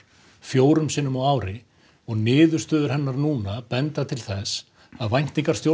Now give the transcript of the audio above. fjórum sinnum á ári og niðurstöður hennar núna benda til þess að væntingar